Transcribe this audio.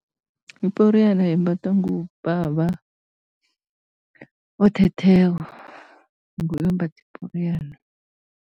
Iporiyana yembathwa ngubaba othetheko, nguye ombatha iporiyana.